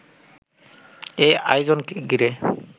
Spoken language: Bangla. এই আয়োজনকে ঘিরে